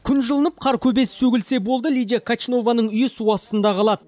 күн жылынып қар көбесі сөгілсе болды лидия качнованың үйі су астында қалады